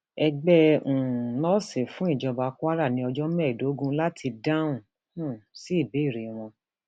ẹgbẹ um nọọsì fún ìjọba kwara ní ọjọ mẹẹẹdógún láti dáhùn um sí ìbéèrè wọn